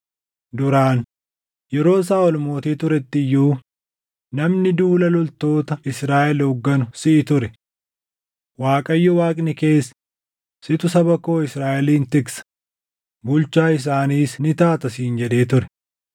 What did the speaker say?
Duraan, yeroo Saaʼol mootii turetti iyyuu namni duula loltoota Israaʼel hoogganu siʼi ture. Waaqayyoo Waaqni kees, ‘Situ saba koo Israaʼelin tiksa; bulchaa isaaniis ni taata’ siin jedhee ture.”